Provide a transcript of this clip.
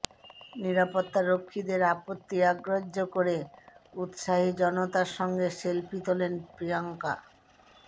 নিরাপত্তারক্ষীদের আপত্তি অগ্রাহ্য করে উত্সাহী জনতার সঙ্গে সেলফি তোলেন প্রিয়ঙ্কা